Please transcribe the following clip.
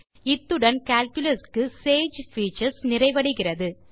இத்துடன் கால்குலஸ் க்கு sage features நிறைவடைகிறது